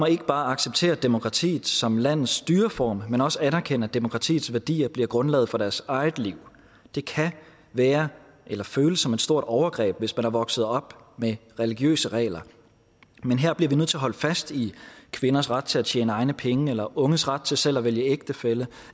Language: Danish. ikke bare acceptere demokratiet som landets styreform men også anerkende at demokratiets værdier bliver grundlaget for deres eget liv det kan være eller føles som et stort overgreb hvis man er vokset op med religiøse regler men her bliver vi nødt til at holde fast i kvinders ret til at tjene egne penge unges ret til selv at vælge ægtefælle